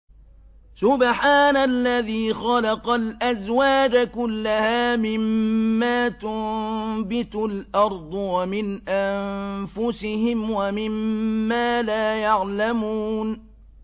سُبْحَانَ الَّذِي خَلَقَ الْأَزْوَاجَ كُلَّهَا مِمَّا تُنبِتُ الْأَرْضُ وَمِنْ أَنفُسِهِمْ وَمِمَّا لَا يَعْلَمُونَ